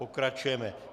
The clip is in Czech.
Pokračujeme.